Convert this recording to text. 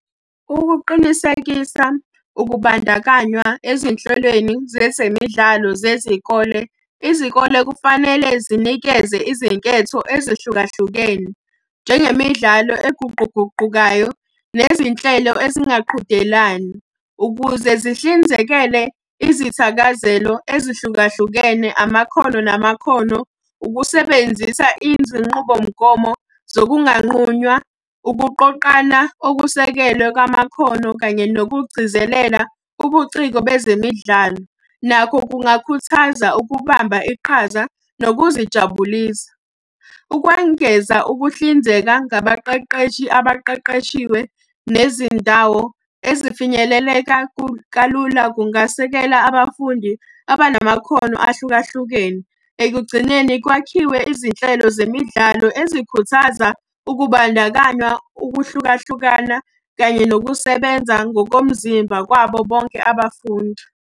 Ukuqinisekisa ukubandakanywa ezinhlelweni zezemidlalo zezikole, izikole kufanele zinikeze izinketho ezihlukahlukene, njengemidlalo eguquguqukayo nezinhlelo ezingaqhudelani. Ukuze zihlinzekele izithakazelo ezihlukahlukene, amakhono namakhono, ukusebenzisa izinqubomgomo zokunganqunywa, ukuqoqana okusekelwe kwamakhono kanye nokugcizelela ubuciko bezemidlalo. Nakho kungakhuthaza ukubamba iqhaza nokuzijabulisa. ukwengeza ukuhlinzeka ngabaqeqeshi abaqeqeshiwe, nezindawo ezifinyeleleka kalula kungasekela abafundi abanamakhono ahlukahlukene. Ekugcineni kwakhiwe izinhlelo zemidlalo ezikhuthaza ukubandakanywa, ukuhlukahlukana kanye nokusebenza ngokomzimba kwabo bonke abafundi.